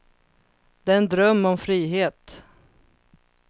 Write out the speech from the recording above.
Det är en dröm om frihet.